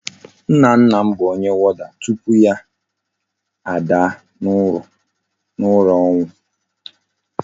Nna nna m bu Onye warder tupu ya a daa na ura onwu